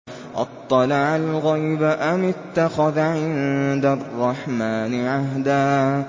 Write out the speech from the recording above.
أَطَّلَعَ الْغَيْبَ أَمِ اتَّخَذَ عِندَ الرَّحْمَٰنِ عَهْدًا